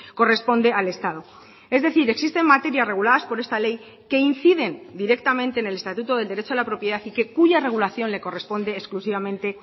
corresponde al estado es decir existen materias reguladas por esta ley que inciden directamente en el estatuto del derecho a la propiedad y que cuya regulación le corresponde exclusivamente